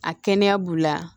A kɛnɛya b'u la